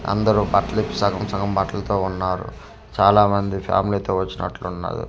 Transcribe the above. అందరూ బట్టలు ఇప్పి సగం సగం బట్టాలతో ఉన్నారు చాలా మంది ఫ్యామిలీ తో వచ్చినట్లు ఉన్నారు ఇసుకతో.